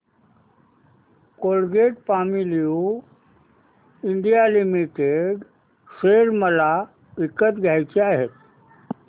Colgate Palmolive India limited share मला विकत घ्यायचे आहेत